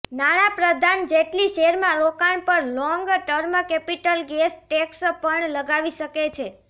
નાણાપ્રધાન જેટલી શેરમાં રોકાણ પર long term capital gains tax પણ લગાવી શકે છે